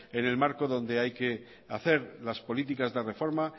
en el marco donde hay que hacer las políticas de reforma